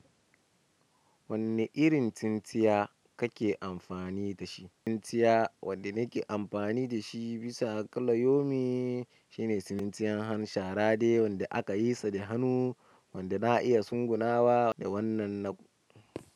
Wanne irin tsintsiya kake amfani da shi? Tsintsiya wadda nake amfani da shi bisa kulla yomi shi ne tsintsiyan han shara de wanda aka yi sa da hannu, wanda za a iya tsugunawa da wannan na.